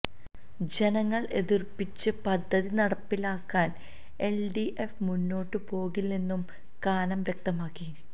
ജനങ്ങള് എതിര്പ്പിച്ച് പദ്ധതി നടപ്പിലാക്കാൻ എല്ഡിഎഫ് മുന്നോട്ട് പോകില്ലെന്നും കാനം വ്യക്തമാക്കി